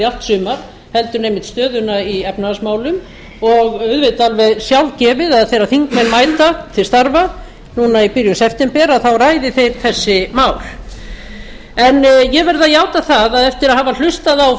sumar heldur en einmitt stöðuna í efnahagsmálum og auðvitað alveg sjálfgefið að þegar þingmenn mæta til starfa núna í byrjun september þá ræði þeir þessi mál en ég verð að játa það að eftir að hafa hlustað á